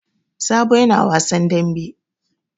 Sabo yana wasan dambe.